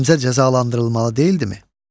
Həmzə cəzalandırılmalı deyildimi?